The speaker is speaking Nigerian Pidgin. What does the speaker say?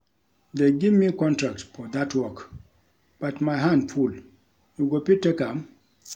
They give me contract for dat work but my hand full. You go fit take am?